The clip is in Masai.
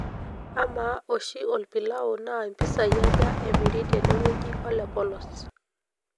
amaa oshi olpilau naa impisai aja emiri tenewueji olepolos